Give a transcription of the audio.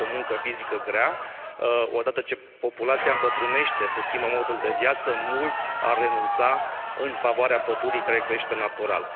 Asta este o muncă fizică grea, odată ce populația îmbătrânește, se schimbă modul de viață, mulți ar renunța în favoarea pădurii, care crește natural.